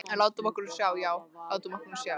En látum okkur nú sjá, já, látum okkur nú sjá.